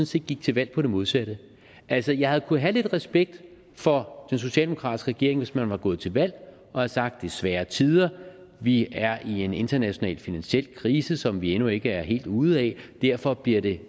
set gik til valg på det modsatte altså jeg kunne have haft lidt respekt for den socialdemokratiske regering hvis man var gået til valg og havde sagt det er svære tider vi er i en international finansiel krise som vi endnu ikke er helt ude af og derfor bliver det